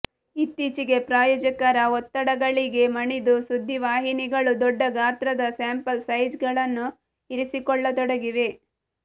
ಇತ್ತೀಚೆಗೆ ಪ್ರಾಯೋಜಕರ ಒತ್ತಡಗಳಿಗೆ ಮಣಿದು ಸುದ್ದಿವಾಹಿನಿಗಳು ದೊಡ್ಡ ಗಾತ್ರದ ಸ್ಯಾಂಪಲ್ ಸೈಜ್ ಗಳನ್ನು ಇರಿಸಿಕೊಳ್ಳತೊಡಗಿವೆ